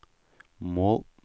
mål